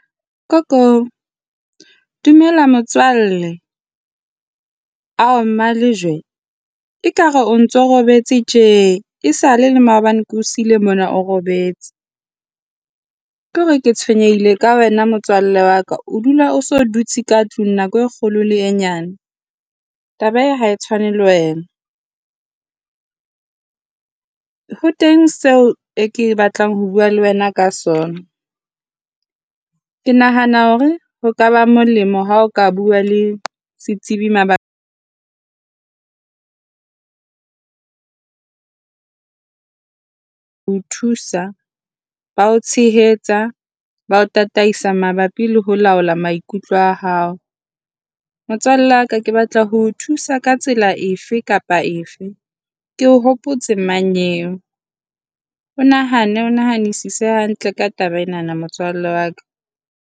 Ko ko! Dumela motswalle. Ao! Mma Lejwe, ekare o ntso robetse tje, esale le maobane ke o siile mona o robetse. Ke hore ke tshwenyehile ka wena motswalle wa ka. O dula o se o dutse ka tlung nako e kgolo le e nyane. Taba ena ha e tshwane le wena. Ho teng seo ke batlang ho bua le wena ka sona. Ke nahana hore ho ka ba molemo ha o ka bua le setsebi mabapi ho o thusa ba o tshehetsa, ba o tataisa mabapi le ho laola maikutlo a hao. Motswalle wa ka, ke batla ho o thusa ka tsela efe kapa efe. Ke o hopotse mmanyeo. O nahane, o nahanisise hantle ka taba enana motswalle wa ka.